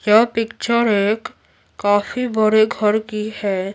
यह पिक्चर एक काफी बड़े घर की है।